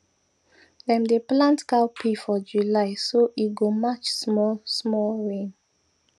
dem dey plant cowpea for july so e go match smallsmall rain